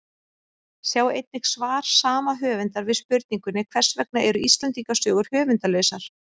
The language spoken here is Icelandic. Sjá einnig svar sama höfundar við spurningunni Hvers vegna eru Íslendingasögur höfundarlausar?